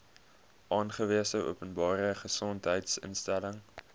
aangewese openbare gesondheidsinstelling